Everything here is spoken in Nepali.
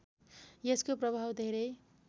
यसको प्रभाव धेरै